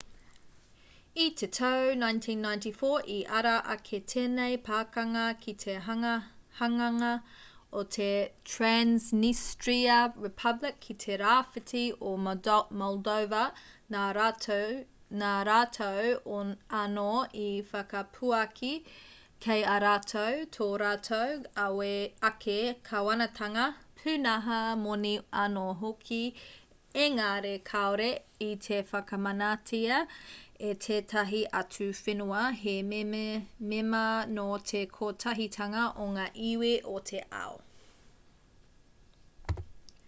i te tau 1994 i ara ake tēnei pakanga ki te hanganga o te transnistria republic ki te rāwhiti o moldova nā rātou anō i whakapuaki kei a rātou tō rātou ake kāwanatanga pūnaha moni anō hoki engari kāore i te whakamanatia e tētahi atu whenua he mema nō te kotahitanga o ngā iwi o te ao